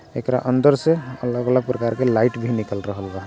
एकरा अंदर से अलग-अलग प्रकार के लाइट भी निकल रहल बा।